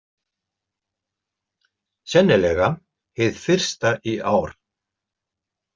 Sennilega hið fyrsta í ár.